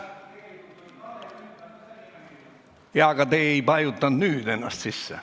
Jaa, aga te ei vajutanud nüüd ennast sisse.